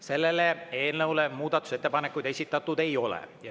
Selle eelnõu kohta muudatusettepanekuid esitatud ei ole.